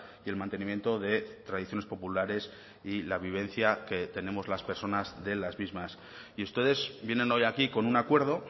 y el mantenimiento de tradiciones populares y la vivencia que tenemos las personas de las mismas y ustedes vienen hoy aquí con un acuerdo